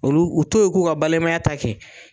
Olu u to yen u k'u ka balimaya ta kɛ.